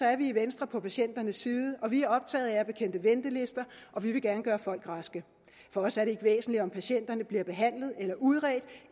er vi i venstre på patienternes side og vi er optaget af at bekæmpe ventelister og vi vil gerne gøre folk raske for os er det ikke væsentligt om patienterne bliver behandlet eller udredt